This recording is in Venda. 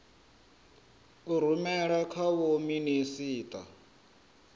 a rumela kha vho minisita